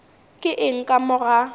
ke eng ka mo ga